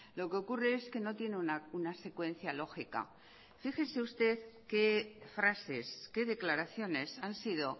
lo que ocurre es que no tiene una secuencia lógica fíjese usted qué frases qué declaraciones han sido